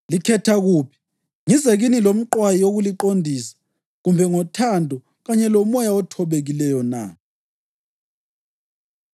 Likhetha kuphi? Ngize kini lomqwayi wokuliqondisa, kumbe ngothando kanye lomoya othobekileyo na?